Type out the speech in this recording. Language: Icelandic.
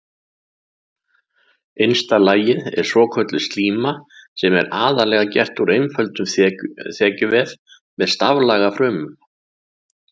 Innsta lagið er svokölluð slíma sem er aðallega gerð úr einföldum þekjuvef með staflaga frumum.